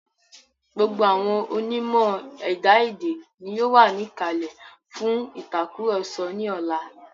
Gbogbo àwọn onímọ̀ ẹ̀dá èdè ni yóò wà ní ìkàlẹ̀ fún ìtàkurọ̀sọ ní ọlá.